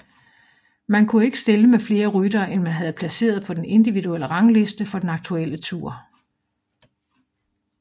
Man kunne ikke stille med flere ryttere end man havde placeret på den individuelle rangliste for den aktuelle tour